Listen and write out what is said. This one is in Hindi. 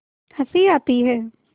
हँसी आती है